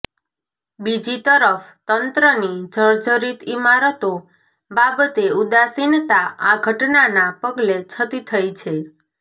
બીજી તરફ તંત્રની જર્જરીત ઇમારતો બાબતે ઉદાસીનતા આ ઘટનાના પગલે છતી થઇ છે